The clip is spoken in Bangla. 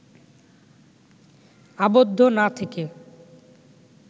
আবদ্ধ না থেকে